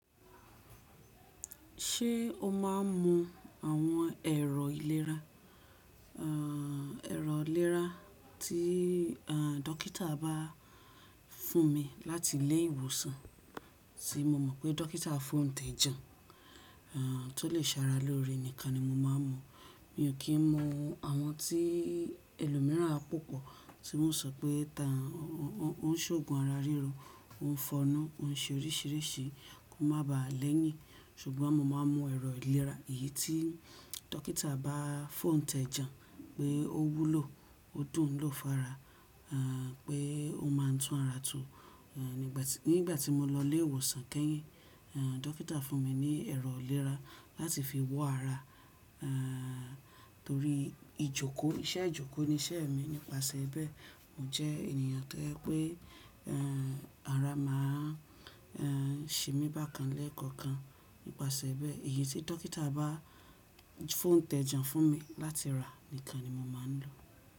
Ṣé o má a ń mú àwọn ẹ̀rọ ìlera, ẹ̀rọ ìlera tí à dọ́kítà bá fún mi láti ilé ìwòsàn, tí mo mọ̀ pé dọ́kítà fún tẹjá. À tó lè sàrà lóre níkan ni mo má a mún. Mi ò kí n mu àwọn tí ẹlòmíràn á pòpọ̀ tí wọ́n sọ pé ta ń, ó ń ṣògùn ara ríro, ó ń fọnu, ó ń ṣe oríṣìíríṣìí, kó má ba à lẹ́yìn. Ṣùgbọ́n mo má a mu ẹ̀rọ ìlera èyí tí dọ́kítà bá foún tẹjá pé ó wúlò, ó dùn lọ́fára, à pé ó má a tún ara to À nígbà tí, nígbà tí mo lọ ilé ìwòsàn kẹ́yìn, à dọ́kítà fún mi ní ẹ̀rọ ìlera láti fi wọ ara, à torí ìjókòó, iṣẹ́ ìjókòó ni iṣẹ́ mi. Nípasẹ̀ bẹ́ẹ̀, mo jẹ́ ènìyàn tojẹ́ pé àrá má a ṣe mi bákan lẹ́kọ̀ọ̀kan. Nípasẹ̀ bẹ́ẹ̀, ìyè tí dọ́kítà bá foún tẹjá fún mi láti rà nìkan ni mo má a ń lò.